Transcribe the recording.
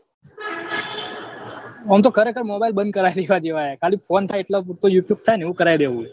આમ તો ખરેખર mobile બંદ કરી દેવા જેવા હે ખાલી ફોન થાય એટલા જ પુરતું ઉપયોગ થાય એવા કરાઈ દેવું હે